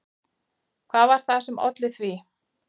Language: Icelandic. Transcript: Hvað var það sem olli því?